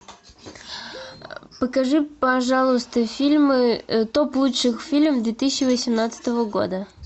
покажи пожалуйста фильмы топ лучших фильмов две тысячи восемнадцатого года